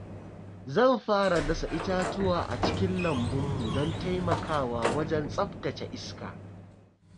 Zan fara dasa itatuwa a cikin lambun mu don taimakawa wajen tsaftace iska.